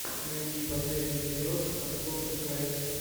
найди последний эпизод абсурд драйв